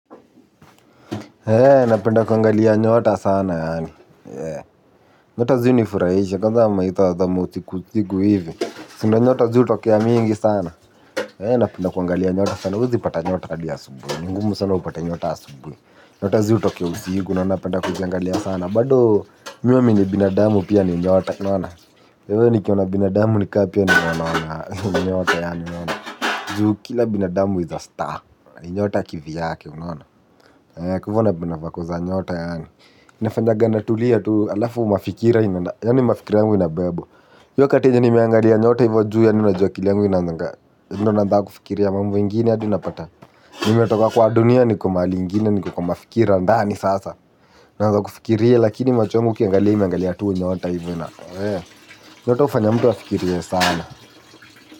Napenda kuangalia nyota sana yaani. Nyota ziunifurahisha kwanza maithaa za mausiku usiku hivi. Si ndiyo nyota ziutokea mingi sana. Napenda kuangalia nyota sana. Huwezi pata nyota hadi asubuhi. Ngumu sana upate nyota asubuhi. Nyota ziutokea usiku na napenda kuziangalia sana. Bado mimi huamini binadamu pia nyota unaona. Kwa hivyo nikiona binadamu ni kama pia nimeona nyota yaani unaona. Juu kila binadamu is a star. Ni nyota kivyake unaona. Kwa hivyo napenda vako za nyota yaani. Inafanyanga natulia tu halafu mafikira inaenda yaani mafikira yangu inabebwa. Hiyo wakati yenye nimeangalia nyota hivyo juu yaani unajua akili yangu inaanzanga ndiyo namba kufikiria mambo ingine hadi unapata. Nimetoka kwa dunia niko mahali ingine niko kwa mafikira ndani sasa naanza kufikiria lakini macho yangu ukiangalia imeangalia tu nyota hivyo nyota hufanya mtu afikirie sana.